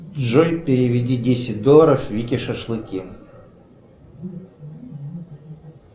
джой переведи десять долларов вике шашлыки